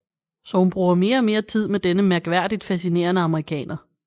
Så hun bruger mere og mere tid med denne mærkværdigt fascinerende amerikaner